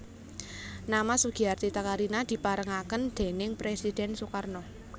Nama Sugiarti Takarina diparengaken déning Presiden Sukarno